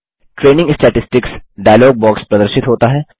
training statistics dialog box प्रदर्शित होता है